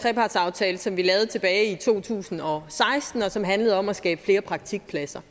trepartsaftale som vi lavede tilbage i to tusind og seksten og som handlede om at skabe flere praktikpladser